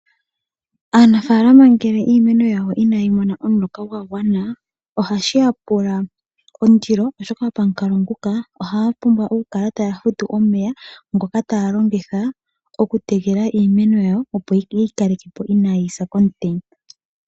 Aanafalama ngele iimeno yawo inayi mona omuloka gwa gwana ohashi ya pula ondilo, oshoka pamukalo nguka ohaya pumbwa okukala taya futu omeya ngoka taya longitha okutekela iimeno yawo, opo ye yi kaleke po inayi sa komutenya.